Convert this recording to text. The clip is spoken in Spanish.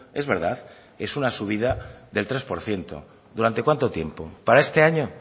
es verdad es una subida del tres por ciento durante cuánto tiempo para este año